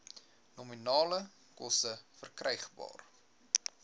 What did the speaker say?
nominale koste verkrygbaar